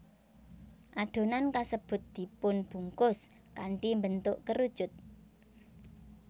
Adonan kasebut dipunbungkus kanthi mbentuk kerucut